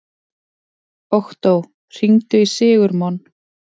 Októ, hringdu í Sigurmon.